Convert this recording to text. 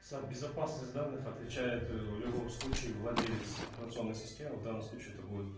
за безопасность данных отвечает э в любом случае владелец информационной системы в данном случае это будет